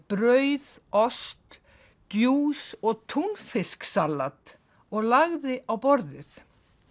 brauð ost djús og túnfisksalat og lagði á borðið